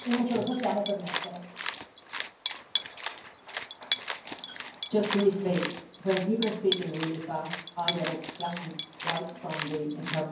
Just briefly, when people are speaking really fast, I get a flashing light from the interpreters, so say less rather than more, and then you'll be within your time.